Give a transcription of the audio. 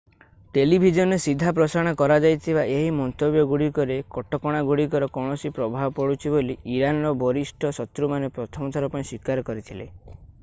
ଟେଲିଭିଜନରେ ସିଧା ପ୍ରସାରଣ କରାଯାଇଥିବା ଏହି ମନ୍ତବ୍ୟଗୁଡ଼ିକରେ କଟକଣାଗୁଡ଼ିକର କୌଣସି ପ୍ରଭାବ ପଡ଼ୁଛି ବୋଲି ଇରାନର ବରିଷ୍ଠ ସୂତ୍ରମାନେ ପ୍ରଥମ ଥର ପାଇଁ ସ୍ୱୀକାର କରିଥିଲେ